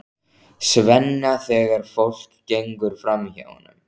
Svenna þegar fólk gengur framhjá honum.